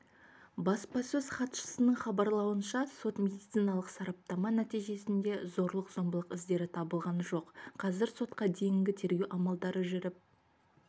баспасөз хатшысының хабарлауынша сот-медициналық сараптама нәтижесінде зорлық-зомбылық іздері табылған жоқ қазір сотқа дейінгі тергеу амалдары жүріп